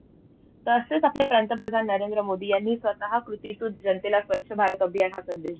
तसंच आपले पंतप्रधान नरेंद्र मोदी यांनी स्वतः कृतीकृत जनतेला स्वच्छ भारत अभियान हा संदेश दिला.